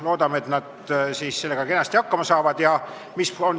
Loodame, et nad juhatuses sellega kenasti hakkama saavad.